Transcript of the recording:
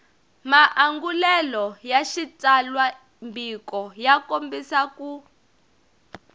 maangulelo ya xitsalwambiko ya kombisa